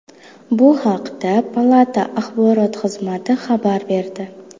Bu haqda palata axborot xizmati xabar berdi .